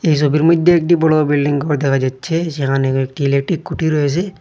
এই ছবির মইধ্যে একটি বড় বিল্ডিং গর দেখা যাচ্ছে সেখানে কয়েকটি ইলেকট্রিক খুঁটি রয়েছে।